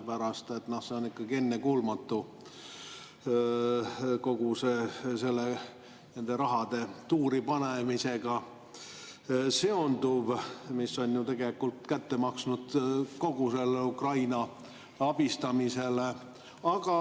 See on ikkagi ennekuulmatu, kogu see nende rahade tuuripanemisega seonduv, ja see on ju tegelikult kätte maksnud kogu Ukraina abistamisele.